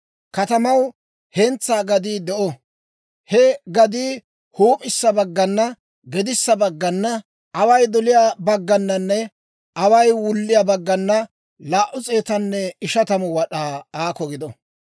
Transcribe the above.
Katamaw hentsaa gadii de'o; he gadii huup'issa baggana, gedissa baggana, away doliyaa baggananne away wulliyaa baggana 250 wad'aa aakko gido.